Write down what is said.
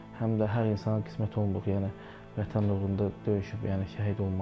Həm də hər insana qismət olmur, yəni Vətən uğrunda döyüşüb yəni şəhid olmaq.